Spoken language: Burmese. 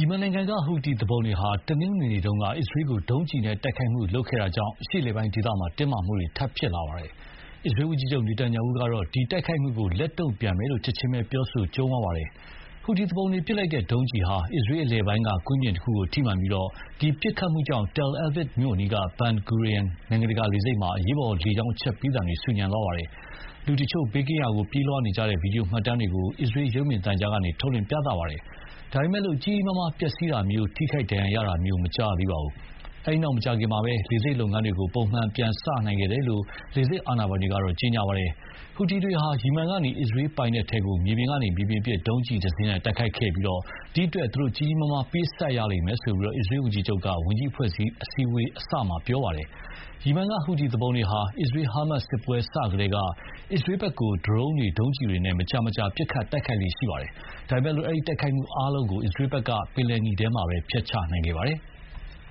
ီမန်နိုင်ငံကဟူသီသူပုန်တွေဟာ တနင်္ဂနွေနေ့က အစ္စရေးကို ဒုံးကျည်နဲ့တိုက်ခိုက်ခဲ့တာ အရှေ့အလယ်ပိုင်းဒေသတင်းမာမှု ထပ်ဖြစ်လာပါတယ်။ အစ္စရေးဝန်ကြီးချုပ် နေတန်ယာဟုကတော့ ဒီတိုက်ခိုက်မှုကို လက်တုံ့ပြန်မယ်လို့ ချက်ခြင်းပဲပြောဆိုကြုံးဝါးပါတယ်။ ဟူတီသူပုန်တွေပစ်လိုက်တဲ့ဒုံးကျည်ဟာ အစ္စရေးအလယ်ပိုင်းကကွင်းပြင်တခုကိုထိမှန်ပြီး ဒီပစ်ခတ်မှုကြောင့် Tel Aviv မြို့အနီးက Ben Gurion နိုင်ငံတကာလေဆိပ်မှာ အရေးပေါ်လေကြောင်းအချက်ပေးသံတွေ ဆူညံသွားပါတယ်။ လူတချို့ ဘေးကင်းရာကို ပြေးလွှားနေကြတဲ့ ဗွီဒီယိုမှတ်တမ်းတွေကို အစ္စရေးရုပ်မြင်သံကြားကနေ ထုတ်လွှင့်ပြသပါတယ်။ ဒါပေမယ့် ကြီးကြီးမားမားပျက်စီးတာမျိုး၊ ထိခိုက်ဒဏ်ရာရတာမျိုး မကြားရသေးပါဘူး။ အဲဒီနောက်မကြာခင်မှာပဲ လေဆိပ်လုပ်ငန်း ပုံမှန်ပြန်စခဲ့တယ်လို့ လေဆိပ်အာဏာပိုင်ကတော့ ကြေညာပါတယ်။ ဟူသီတွေဟာ ယီမန်ကနေအစ္စရေးပိုင်နက်ထဲကို မြေပြင်ကနေမြေပြင်ပစ် ဒုံးကျည်တစင်းနဲ့ တိုက်ခိုက်ခဲ့ပြီး ဒီအတွက် ကြီးကြီးမားမား ပေးဆပ်ရလိမ့်မယ်လို့ အစ္စရေးဝန်ကြီးချုပ်က ဝန်ကြီးအဖွဲ့အစည်းအဝေးအစမှာပဲ ပြောခဲ့ပါတယ်။ ယီမန်ကဟူသီသူပုန်တွေဟာ အစ္စရေး-ဟာမတ်စစ်ပွဲစကတည်းက အစ္စရေးဘက်ကို ဒရုန်းတွေ၊ ဒုံးကျည်တွေနဲ့ မကြာမကြာ ပစ်ခတ်တိုက်ခိုက် လေ့ရှိပါတယ်။ ဒါပေမယ့် အဲဒီတိုက်ခိုက်မှုအားလုံးကို အစ္စရေးဘက်က ပင်လယ်နီထဲမှာပဲ ဖျက်ချနိုင်ခဲ့ပါတယ်။